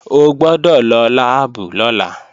O gbọ́dọ̀ lọ láàbù lọ́la!